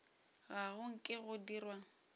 ga go nke go dirwa